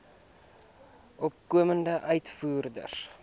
opkomende uitvoerders